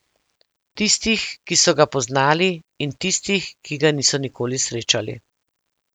Tistih, ki so ga poznali, in tistih, ki ga niso nikoli srečali.